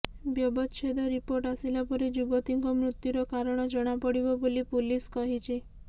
ବ୍ୟବଚ୍ଛେଦ ରିପୋର୍ଟ ଆସିଲା ପରେ ଯୁବତୀଙ୍କ ମୃତ୍ୟୁର କାରଣ ଜଣାପଡିବ ବୋଲି ପୁଲିସ କହିଛି